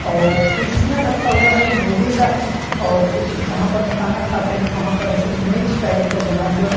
और कुर्सियाँ रखा हुआ है लोहे का है और कुछ जहाँ पे खाना खाते हैं वहाँ पर ऐसे मेज टाइप का बना हुआ है।